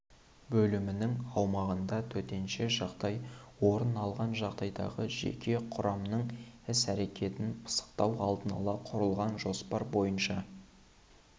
бөлімінің аумағында төтенше жағдай орын алған жағдайдағы жеке құрамның іс-әрекетін пысықтау алдын-ала құрылған жоспар бойынша